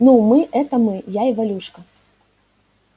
ну мы это мы я и валюшка